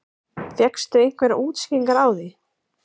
Viktoría Hermannsdóttir: Fékkstu einhverjar útskýringar á því?